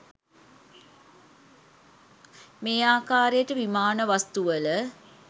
මේ ආකාරයට විමාන වස්තුවල